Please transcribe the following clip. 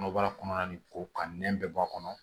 Kɔnɔbara kɔnɔna nin ko ka nɛn bɛ bɔ a kɔnɔ